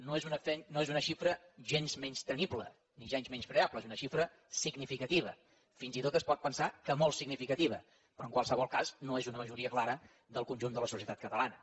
no és una xifra gens menystenible ni gens menyspreable és una xifra significativa fins i tot es pot pensar que molt significativa però en qualsevol cas no és una majoria clara del conjunt de la societat catalana